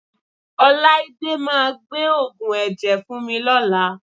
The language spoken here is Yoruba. Ọláídé máa gbé òògùn ẹ̀jẹ̀ fún mi lọ́la